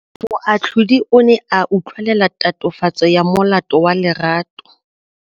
Moatlhodi o ne a utlwelela tatofatsô ya molato wa Lerato.